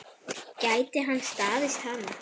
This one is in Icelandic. Gæti hann staðist hana?